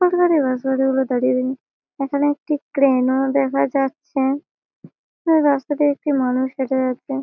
কতগুলো গাড়ি গুলো দাঁড়িয়ে। এখানে একটি ক্রেন ও দেখা যাচ্ছে রাস্তা তে একটি মানুষ দেখা যাচ্ছে।